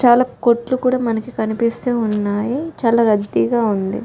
చాలా కొట్లు కూడా మనకి కనిపిస్తూ ఉన్నాయి చాలా రద్దీగా ఉంది .